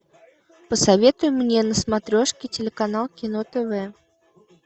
посоветуй мне на смотрешке телеканал кино тв